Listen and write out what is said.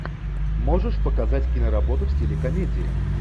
можешь показать киноработу в стиле комедия